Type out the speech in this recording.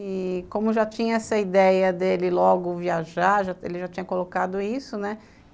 E como já tinha essa ideia dele logo viajar, ele já tinha colocado isso, né?